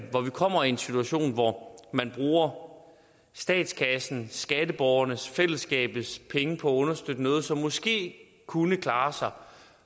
kommer i en situation hvor man bruger statskassens skatteborgernes fællesskabets penge på at understøtte noget som måske kunne klare sig